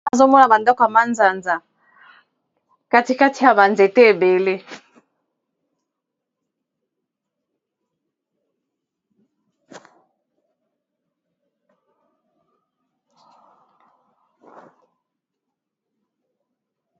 awa nazomona bandako ya mazanza katikati ya banzete ebele